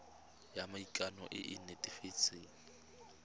ya maikano e e netefatsang